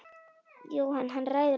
Jóhann: Hann ræður öllu?